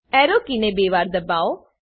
arrow કીને બે વાર દબાવો